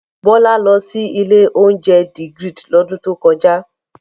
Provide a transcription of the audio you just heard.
Bọ́lá lọ sí ilé-oúnjẹ The Grid lọ́dún tó kọjá.